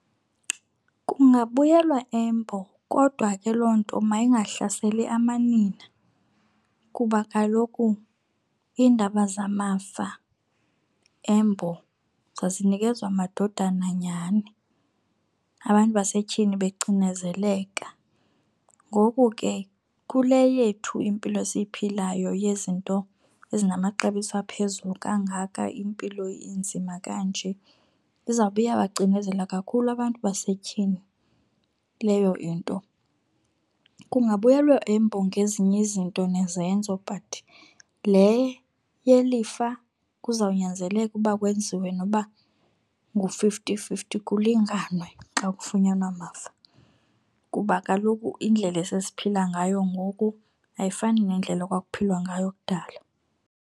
Kungabuyelwa eMbo kodwa ke loo nto mayingahlaseli amanina kuba kaloku iindaba zamafa eMbo zazinikezwa amadodana nyhani abantu basetyhini becinezeleka. Ngoku ke kule yethu impilo esiyiphilayo yezinto ezinamaxabiso aphezulu kangaka impilo inzima kanje izawube iyawacinezela kakhulu abantu basetyhini leyo into. Kungabuyelwa eMbo ngezinye izinto nezenzo but le yelifa kuzawunyanzeleka ukuba kwenziwe noba ngu-fifty fifty kulinganwe xa kufunyanwa amafa. Kuba kaloku indlela esesiphila ngayo ngoku ayifani nendlela ekwakuphilwa ngayo kudala.